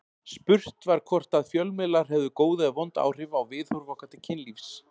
Spurt var hvort að fjölmiðlar hefðu góð eða vond áhrif á viðhorf okkar til kynlífs.